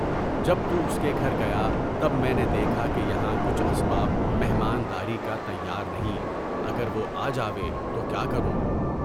جب تو اس کےگھر گیا تب میں نے دیکھا کہ یہاں کچھ اسباب مہمانداری کا تیار نہیں۔ اگر وہ آجائے تو کیا کروں؟